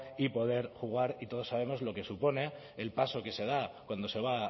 y poder jugar y todos sabemos lo que supone el paso que se da cuando se va